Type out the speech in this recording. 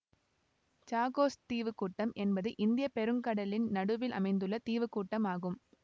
Chagos தீவு கூட்டம் என்பது இந்திய பெருங்கடலின் நடுவில் அமைந்துள்ள தீவு கூட்டம் ஆகும்